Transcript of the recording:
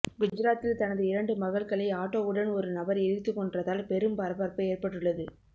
குஜராத்தில் தனது இரண்டு மகள்களை ஆட்டோவுடன் ஒரு நபர் எரித்து கொன்றதால் பெரும் பரபரப்பு ஏற்பட்டுள்ளது